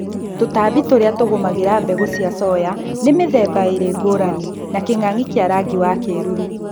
tũtambi tũria tugũmagĩra mbegũ cia soya ni mũrũngũ mĩthemba ĩlĩ ngũrani na kĩng'ang'i kĩa rangi wa kĩruru